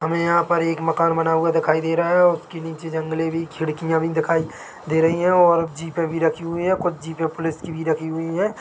हमे यहाँ पर एक मकान बना हुआ दिखाई दे रहा है और उसके नीचे जंगले भी खिड़कियां भी दिखाई दे रहीं हैं और जीपे भी रखी हुईं हैं कुछ जीपे पुलिस की भी रखी हुई हैं।